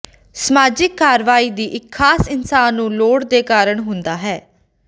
ਸਮਾਜਿਕ ਕਾਰਵਾਈ ਦੀ ਇੱਕ ਖਾਸ ਇਨਸਾਨ ਨੂੰ ਲੋੜ ਦੇ ਕਾਰਨ ਹੁੰਦਾ ਹੈ